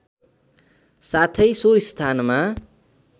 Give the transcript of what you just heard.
साथै सो स्थानमा